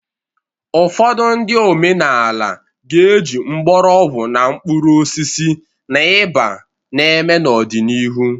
Ụfọdụ ndị omenaala ga-eji mgbọrọgwụ na mkpuru osisi na ịba na-eme n'ọdịnihu